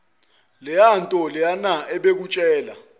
leyanto leyana ebekutshela